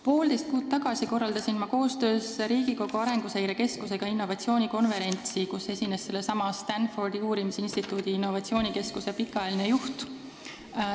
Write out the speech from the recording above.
Poolteist kuud tagasi korraldasin ma koostöös Riigikogu Arenguseire Keskusega innovatsioonikonverentsi, kus esines sellesama Stanfordi uurimisinstituudi innovatsioonikeskuse pikaajaline juht.